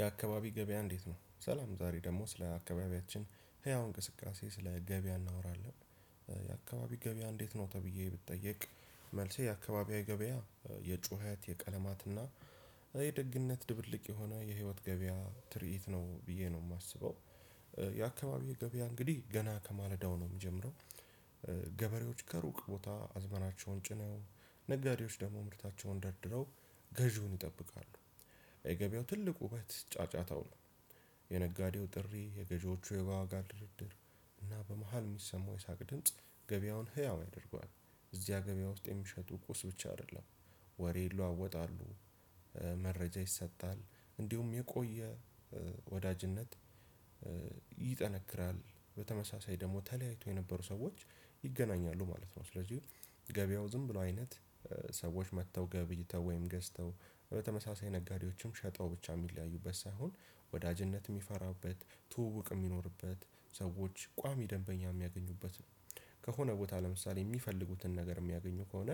የአካባቢ ገበያ እንዴት ነው? ሰላም ዛሬ ደግሞ ስለ አካባቢያችን ህያው እንቅስቃሴ ስለ ገበያ እናወራለን። የአካባቢ ገበያ እንዴት ነው ተብዬ ብትጠይቅ? መልሴ የአካባቢያዊ ገበያ የጩኸት የቀለማትና የደግነት ድብልቅ የሆነ የህይወት ገበያ ትርኢት ነው ብዬ ነው ማስበው። የአካባቢው ገበያ እንግዲህ ገና ከማለዳው ነው የምጀምረው። ገበሬዎች ከሩቅ ቦታ አዝመራቸውን ጭነው ነጋዴዎች ደግሞ ምርታቸውን ደርድረው ገዢውን ይጠብቃሉ። የገበያው ትልቁ ውበት ጫጫታው ነው። የነጋዴው ጥሪ የገዢዎቹ የዋጋ ድርድር እና በመሃል ሚሰማው የሳቅ ድምጽ ገበያውን ህያው ያደርገዋል። እዚያ ገበያ ውስጥ የሚሸጡ ቁስ ብቻ አይደለም ወሬ ይለዋወጣሉ። ይሰጣል እንዲሁም የቆየ ወዳጅነት ይጠነክራል በተመሳሳይ ደግሞ ተለያይተው የነበሩ ሰዎች ይገናኛሉ ማለት ነው። ስለዚህ ገበያው ዝም ብሎ አይነት ሰዎች መጥተው ገብይተው ወይም ገዝተው በተመሳሳይ ነጋዴዎችም ሸጠው ብቻ እሚለያዩበት ሳይሆን ወዳጅነት የሚፈራበት ትውውቅ የሚኖርበት ሰዎች ቋሚ ደንበኛ የሚያገኙበት ነው። ከሆነ ቦታ ለምሳሌ የሚፈልጉትን ነገር የሚያገኙ ከሆነ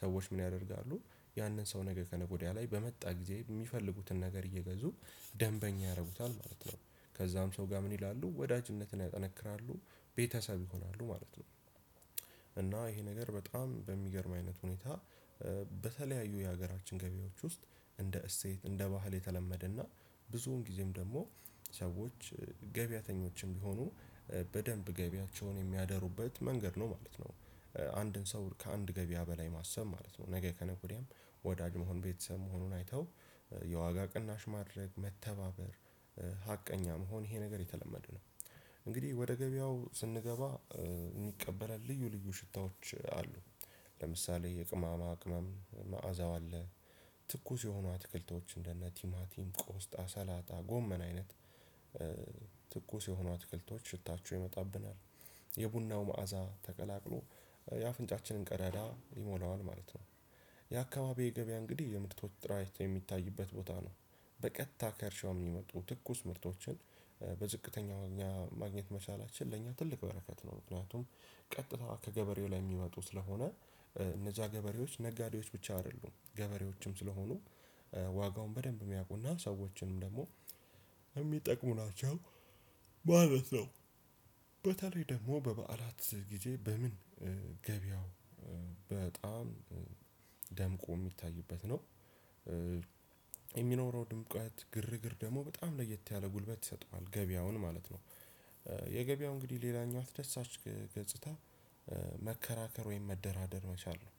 ሰዎች ምን ያደርጋሉ? ያንን ሰው ነገ ከነገ ወዲያ ላይ በመጣ ጊዜ የሚፈልጉትን ነገር እየገዙ ደንበኛ ያደርጉታል ማለት ነው። ከዛም ሰው ጋር ምን ይላሉ ወዳጅነትን ያጠነክራሉ ቤተሰብ ይሆናሉ ማለት ነው። እና ይሄ ነገር በጣም በሚገርም አይነት ሁኔታ በተለያዩ የሀገራችን ገበያዎች ውስጥ እንደ እሴት እንደ ባህል የተለመደና ብዙውን ጊዜም ደግሞ ሰዎች ገበያተኞችም ቢሆኑ በደንብ ገቢያቸውን የሚያደሩበት መንገድ ነው ማለት ነው። አንድን ሰው ከአንድ ገበያ በላይ ማሰብ ማለት ነው ነገ ከነገ ወዲያም ወዳጅ መሆን ቤተሰብ መሆኑን አይተው የዋጋ ቅናሽ ማድረግ መተባበር ሀቀኛ መሆን ይሄ ነገር የተለመደ ነው። እንግዲህ ወደ ገበያው ስንገባ የሚቀበለን ልዩ ልዩ ሽታዎች አሉ። ለምሳሌ የቅማማ ቅመም መዓዛው አለ። ትኩስ የሆኑ አትክልቶች እንደነ ቲማቲም ቆስጣ ሰላጣ ጎመን አይነት ትኩስ የሆኑ አትክልቶች ሽታችሁ ይመጣብናል የቡናው መዓዛ ተቀላቅሎ የአፍንጫችንን ቀዳዳ ይሞላዋል ማለት ነው። የአካባቢው ገበያ እንግዲህ የምርቶች ጥራይት የሚታይበት ቦታ ነው። በቀጥታ ከርሻው የሚመጡ ትኩስ ምርቶችን በዝቅተኛ እኛ ማግኘት መቻላችን ለእኛ ትልቅ በረከት ነው ምክንያቱም። ቀጥታ ከገበሬው ላይ የሚመጡ ስለሆነ እነዛ ገበሬዎች ነጋዴዎች ብቻ አይደሉም ገበሬዎችም ስለሆኑ ዋጋውን በደንብ የሚያውቁና ሰዎችንም ደግሞ እሚጠቅሙ ናቸው። ማለት ነው በተለይ ደግሞ በበዓላት ግዜ ገበያው በጣም ደምቆ የሚታይበት ነው። የሚኖረው ድምቀት ግርግር ደግሞ በጣም ለየት ያለ ጉልበት ይሰጠዋል ገበያውን ማለት ነው። የገበያው እንግዲህ ሌላኛው ደስ አች ገጽታ መከራከር ወይም መደራደር መቻል ነው።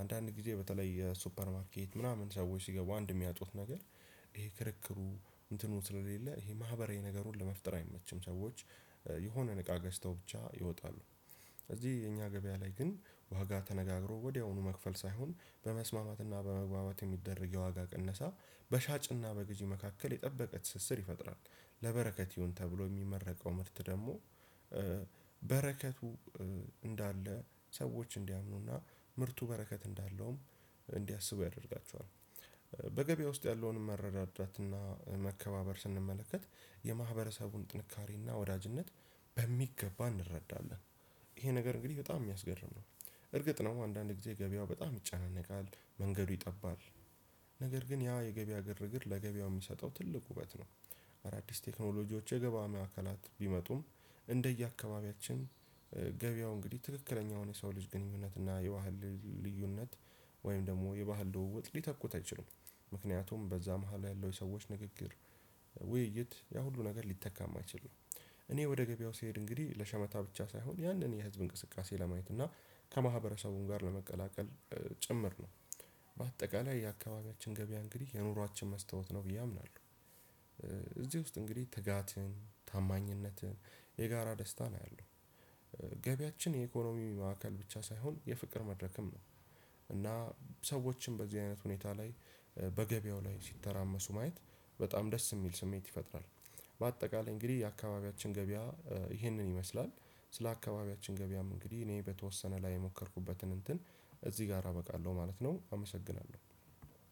አንዳንድ ጊዜ በተለይ የሱፐር ማርኬት ምናምን ሰዎች ሲገቡ አንድ የሚያጡት ነገር ይሄ ክርክሩ እንትኑ ስለሌለ ይሄ ማህበራዊ ነገሩን ለመፍጠር አይመችም ሰዎች የሆነን እቃ ገዝተው ብቻ ይወጣሉ። ስለዚህ የኛ ገበያ ላይ ግን ዋጋ ተነጋግሮ ወዲያውኑ መክፈል ሳይሆን በመስማማትና በመግባባት የሚደረግ የዋጋ ቅነሳ በሻጭና በግዢ መካከል የጠበቀ ትስስር ይፈጥራል። ለበረከት ይሁን ተብሎ የሚመረቀው ምርት ደግሞ በረከቱ እንዳለ ሰዎች እንዲያምኑና ምርቱ በረከት እንዳለውም እንዲያስቡ ያደርጋቸዋል። በገበያ ውስጥ ያለውን መረዳዳትና መከባበር ስንመለከት የማህበረሰቡን ጥንካሬና ወዳጅነት በሚገባ እንረዳለን ይሄ ነገር እንግዲህ በጣም የሚያስገርም ነው። እርግጥ ነው አንዳንድ ጊዜ ገበያው በጣም ይጨነቃል መንገዱ ይጠባል ነገር ግን ያ የገበያ ግርግር ለገበያው የሚሰጠው ትልቅ ውበት ነው። አዳዲስ ቴክኖሎጂዎች የገባ ማእከላት ቢመጡም እንደየአካባቢያችን ገበያው እንግዲህ ትክክለኛውን የሰው ልጅ ግንኙነት እና የባህል ልዩነት ወይም ደግሞ የባህል ደውውጥ ሊተኩት አይችሉም። ምክንያቱም በዛ መሃል ያለው የሰዎች ንግግር ውይይት ያ ሁሉ ነገር ሊተካ የማይችል ነው። እኔ ወደ ገበያው ስሄድ እንግዲህ ለሸመታ ብቻ ሳይሆን ያንን የህዝብ እንቅስቃሴ ለማየት እና ከማህበረሰቡም ጋር ለመቀላቀል ጭምር ነው። በአጠቃላይ የአካባቢያችን ገበያ እንግዲህ የኑሯችን መስታወት ነው ብዬ አምናለሁ። እዚህ ውስጥ እንግዲህ ትጋትን ታማኝነትን የጋራ ደስታን አያለሁ። ገቢያችን የኢኮኖሚ ማዕከል ብቻ ሳይሆን የፍቅር መድረክም ነው። ሰዎችን በዚህ አይነት ሁኔታ ላይ በገበያው ላይ ሲተራመሱ ማየት በጣም ደስ የሚል ስሜት ይፈጥራል። በአጠቃላይ እንግዲህ የአካባቢያችን ገበያ ይህንን ይመስላል። ስለ አካባቢያችን ገበያም እንግዲህ እኔ በተወሰነ ላይ የሞከርኩበትን እንትን እዚህ ጋር አበቃለሁ ማለት ነው አመሰግናለሁ።